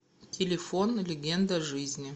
телефон легенда жизни